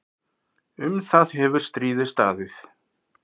Um það hefur stríðið staðið.